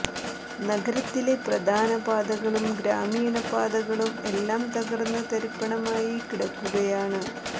നഗരത്തിലെ പ്രധാന പാതകളും ഗ്രാമീണ പാതകളും എല്ലാം തകര്ന്ന് തരിപ്പണമായി കിടക്കുകയാണ്